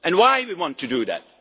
And why do we want to do